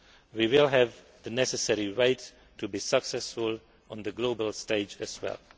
way, we will have the necessary weight to be successful on the global stage as well.